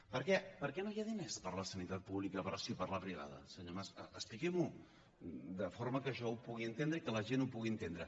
perquè per què no hi ha diners per a la sanitat pública però sí per a la privada senyor mas expliqui m’ho de forma que jo ho pugui entendre i que la gent ho pugui entendre